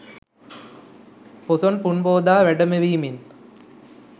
පොසොන් පුන් පෝදා වැඩමවීමෙන්